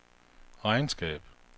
regnskab